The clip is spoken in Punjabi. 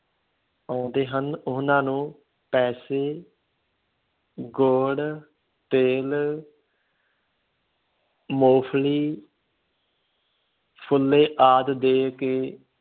ਆਉਂਦੇ ਹਨ ਉਹਨਾਂ ਨੂੰ ਪੈਸੇ ਗੁੜ, ਤਿੱਲ ਮੂੰਫਲੀ ਫੁੱਲੇ ਆਦਿ ਦੇ ਕੇ